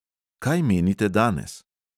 Kaj menite danes?